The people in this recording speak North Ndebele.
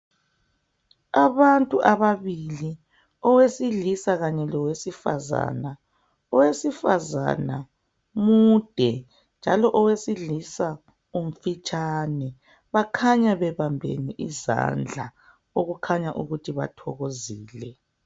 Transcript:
Abantu ababili owesilisa kanye lowesifazana, owesifazana mude njalo owesilisa umfitshane bakhanya bebambene izandla okukhanya ukuthi bathokozile.